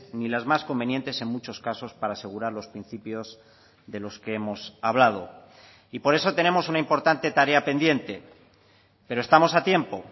ni las más convenientes en muchos casos para asegurar los principios de los que hemos hablado y por eso tenemos una importante tarea pendiente pero estamos a tiempo